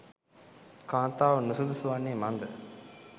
කාන්තාව නුසුදුසු වන්නේ මන් ද?